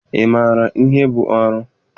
Ị maara ihe bụ oru?